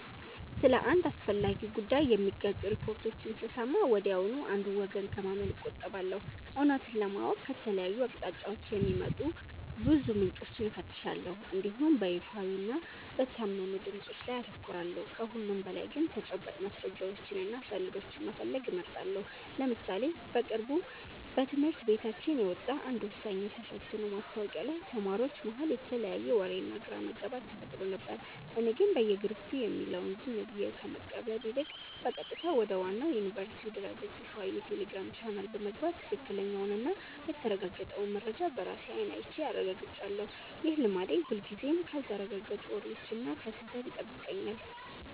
ስለ አንድ አስፈላጊ ጉዳይ የሚጋጩ ሪፖርቶችን ስሰማ ወዲያውኑ አንዱን ወገን ከማመን እቆጠባለሁ። እውነቱን ለማወቅ ከተለያዩ አቅጣጫዎች የሚወጡ ብዙ ምንጮችን እፈትሻለሁ እንዲሁም በይፋዊና በታመኑ ድምፆች ላይ አተኩራለሁ። ከሁሉም በላይ ግን ተጨባጭ ማስረጃዎችንና ሰነዶችን መፈለግ እመርጣለሁ። ለምሳሌ በቅርቡ በትምህርት ቤታችን የወጣ አንድ ወሳኝ የተፈትኖ ማስታወቂያ ላይ ተማሪዎች መሃል የተለያየ ወሬና ግራ መጋባት ተፈጥሮ ነበር። እኔ ግን በየግሩፑ የሚባለውን ዝም ብዬ ከመቀበል ይልቅ፣ በቀጥታ ወደ ዋናው የዩኒቨርሲቲው ድረ-ገጽና ይፋዊ የቴሌግራም ቻናል በመግባት ትክክለኛውንና የተረጋገጠውን መረጃ በራሴ አይን አይቼ አረጋግጫለሁ። ይህ ልማዴ ሁልጊዜም ካልተረጋገጡ ወሬዎችና ከስህተት ይጠብቀኛል።